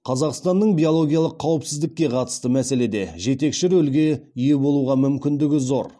қазақстанның биологиялық қауіпсіздікке қатысты мәселеде жетекші рөлге ие болуға мүмкіндігі зор